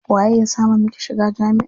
Waye ya sama miki shiga jami'a?